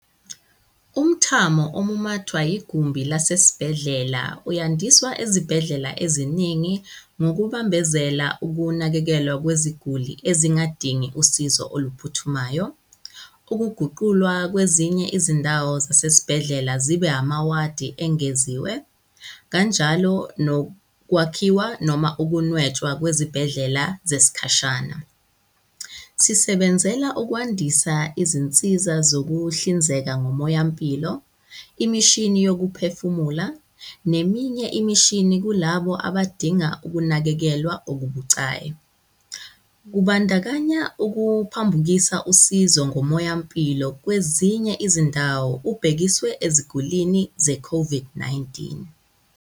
Umthamo omumathwa yigumbi lasesibhedlela uyandiswa ezibhedlela eziningi ngokubambezela ukunakekelwa kweziguli ezingadingi usizo oluphuthumayo, ukuguqulwa kwezinye izindawo zasezibhedlela zibe amawadi engeziwe kanjalo nokwakhiwa noma ukunwetshwa kwezibhedlela zesikhashana. Sisebenzela ukwandisa izinsiza zokuhlinzeka ngomoyampilo, imishini yokuphefumula neminye imishini kulabo abadinga ukunakekelwa okubucayi, kubandakanya ukuphambukisa usizo ngomoyampilo kwezinye izindawo ubhekiswe ezigulini ze-COVID-19.